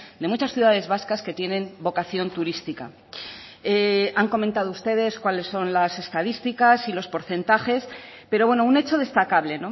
de muchas ciudades vascas que tienen vocación turística han comentado ustedes cuáles son las estadísticas y los porcentajes pero bueno un hecho destacable